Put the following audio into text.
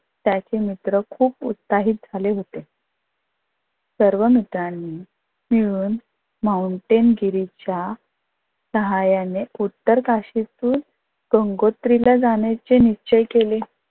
त्याचे मित्र खूप उत्साहित झाले होते. सर्व मित्रांनी मिळून माउंटेन गिरीच्या साहाय्याने उतर काशीतून गंगोत्रीला जाण्याचे निश्चय केले.